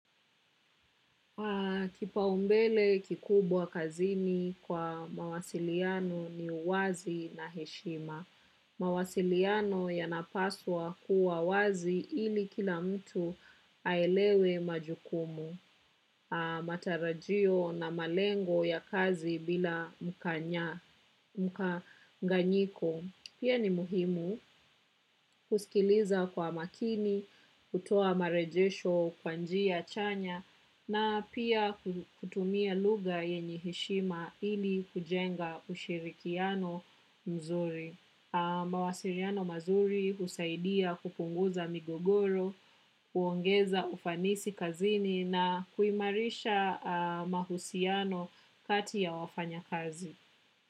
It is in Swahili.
Kipaumbele kikubwa kazini kwa mawasiliano ni wazi na heshima. Mawasiliano yanapaswa kuwa wazi ili kila mtu aelewe majukumu. Matarajio na malengo ya kazi bila mkanya, mkanganyiko. Pia ni muhimu kusikiliza kwa makini, kutoa marejesho kwa njia chanya na pia kutumia lugha yenye heshima ili kujenga ushirikiano mzuri. Mawasiliano mazuri husaidia kupunguza migogoro, kuongeza ufanisi kazini na kuimarisha mahusiano kati ya wafanyakazi.